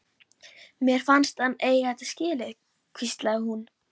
Mér fannst hann eiga þetta skilið- hvíslaði hún.